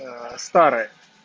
старая